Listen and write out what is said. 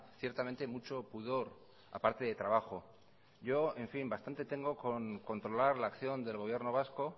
ciertamente mucho pudor aparte de trabajo yo en fin bastante tengo con controlar la acción del gobierno vasco